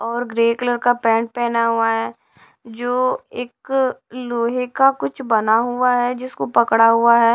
और grey colour का pant पहना हुआ है जो एक लोहे का कुछ बना हुआ है जिसको पकड़ा हुआ है।